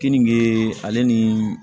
Keninge ale ni